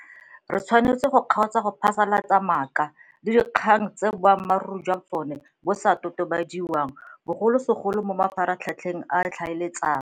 Re tshwanetse go kgaotsa go phasalatsa maaka le dikgang tse boammaruri jwa tsona bo sa totobadiwang, bogolosegolo mo mafaratlhatlheng a ditlhaeletsano.